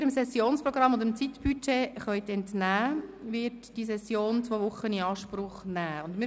Dem Sessionsprogramm und dem Zeitbudget können Sie entnehmen, dass die Session zwei Wochen in Anspruch nehmen wird.